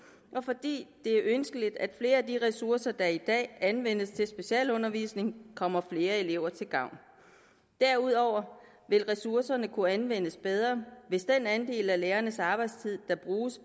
og fordi det er ønskeligt at flere af de ressourcer der i dag anvendes til specialundervisning kommer flere elever til gavn derudover vil ressourcerne kunne anvendes bedre hvis den andel af lærernes arbejdstid der bruges